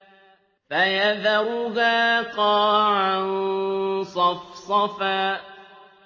فَيَذَرُهَا قَاعًا صَفْصَفًا